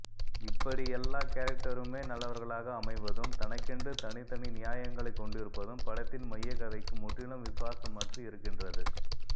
இப்படி எல்லா கேரக்டருமே நல்லவர்களாக அமைவதும் தனக்கென்று தனித்தனி நியாயங்களைக் கொண்டிருப்பதும் படத்தின் மையக்கதைக்கு முற்றிலும் விசுவாசமற்று இருக்கின்றது